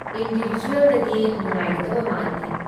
ꯏꯟꯗꯤꯕꯤꯖꯨꯋꯦꯜꯗꯗꯤ ꯅꯨꯉꯥꯏꯒꯗꯕ ꯃꯥꯟꯗꯦ ꯫